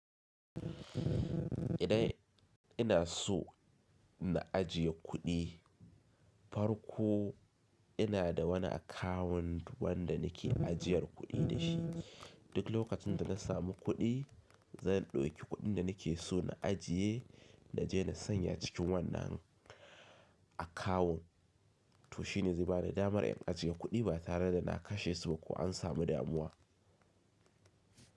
Idan ina so na ajiye kuɗi, farko ina da wani akawun wanda nake ajiyar kuɗi da shi. Duk lokacin da na samu kuɗi, zan ɗauki kuɗin da nake so na ajiye na je na sanya cikin wannan akawun to shine zai bani damar in ajiye kuɗi ba tare da na kashe su ba ko an samu damuwa.